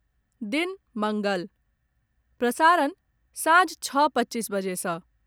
दिन मङ्गल, प्रसारण सांझ छओ पच्चीस बजे सँ